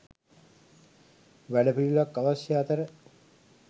වැඩපිළිවෙලක් අවශ්‍ය අතර